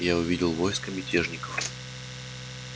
я увидел войско мятежников